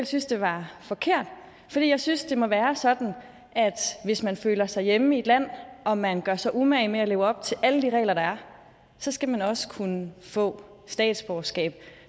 synes det var forkert for jeg synes at det må være sådan at hvis man føler sig hjemme i et land og man gør sig umage med at leve op til alle de regler der er så skal man også kunne få statsborgerskab